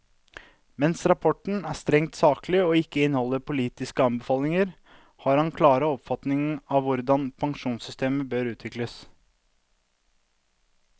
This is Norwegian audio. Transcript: Mens rapporten er strengt saklig og ikke inneholder politiske anbefalinger, har han klare oppfatninger om hvordan pensjonssystemer bør utvikles.